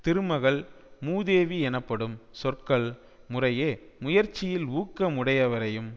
திருமகள் மூதேவி எனப்படும் சொற்கள் முறையே முயற்சியில் ஊக்கமுடையவரையும்